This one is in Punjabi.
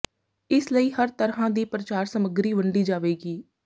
ਇਸ ਲਈ ਹਰ ਤਰ੍ਹਾਂ ਦੀ ਪ੍ਰਚਾਰ ਸਮੱਗਰੀ ਵੰਡੀ ਜਾਵੇਗੀ